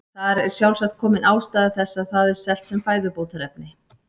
Þar er sjálfsagt komin ástæða þess að það er selt sem fæðubótarefni.